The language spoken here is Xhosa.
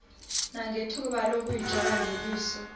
nangethuba lokuyijonga ngeliso